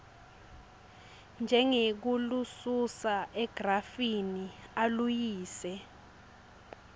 njengekulususa egrafini aluyise